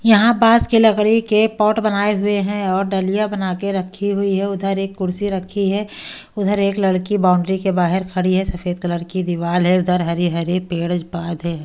यहां पास की लकड़ी के पॉट बनाए हुए हैं और डालिया बना के रखी हुई है उधर एक कुर्सी रखी है उधर एक लड़की बाउंड्री के बाहर खड़ी है सफेद कलर की दीवार है उधर हरे हरे पेड़ पाद है।